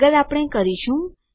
આગળ આપણે કરીશું